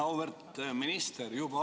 Auväärt minister!